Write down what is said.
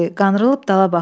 Qanrılıb dala baxdı.